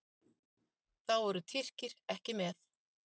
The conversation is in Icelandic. Þá eru Tyrkir ekki með.